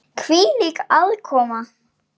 Hvílík aðkoma!